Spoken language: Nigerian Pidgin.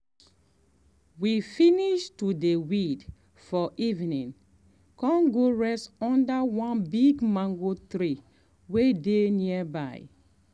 um we finish to dey weed for evening um come go rest under one big mango um tree way dey nearby.